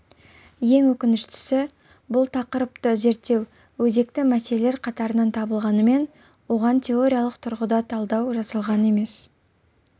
ең өкініштісі бұл тақырыпты зерттеу өзекті мәселелер қатарынан табылғанымен оған теориялық тұрғыда талдау жасалған емес